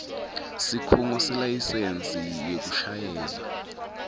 sikhungo selayisensi yekushayela